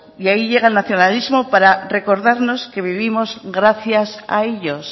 y ahí llega el nacionalismo para recordarnos que vivimos gracias a ellos